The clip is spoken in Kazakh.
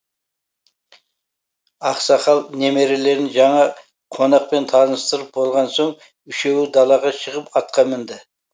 ақсақал немерелерін жаңа қонақпен таныстырып болған соң үшеуі далаға шығып атқа мінді